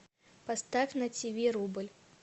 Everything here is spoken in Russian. поставь на тв рубль